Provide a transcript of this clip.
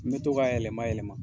N mi to ka a yɛlɛma yɛlɛma